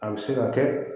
A bɛ se ka kɛ